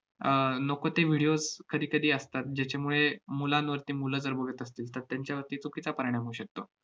अह नको ते videos कधीकधी असतात, ज्याच्यामुळे मुलांवरती मुलं जर बघत असतील तर, त्यांच्यावरती चुकीचा परिणाम होऊ शकतो.